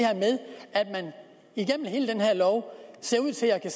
igennem hele den her lov ser ud til at